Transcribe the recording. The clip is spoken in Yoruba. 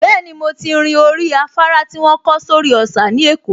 Bẹ́ẹ̀ni, mo ti rin orí afárá tí wọ́n kọ́ sórí òsà ní Èkó